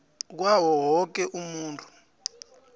kwawo woke umuntu